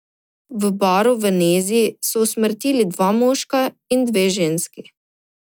V baru v Nezi so usmrtili dva moška in dve ženski.